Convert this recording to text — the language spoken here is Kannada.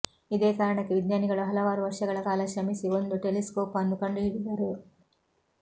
ಇದೇ ಕಾರಣಕ್ಕೆ ವಿಜ್ಞಾನಿಗಳು ಹಲವಾರು ವರ್ಷಗಳ ಕಾಲ ಶ್ರಮಿಸಿ ಒಂದು ಟೆಲಿಸ್ಕೋಪ್ ಅನ್ನು ಕಂಡು ಹಿಡಿದರು